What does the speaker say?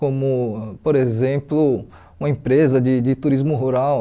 Como, por exemplo, uma empresa de de turismo rural.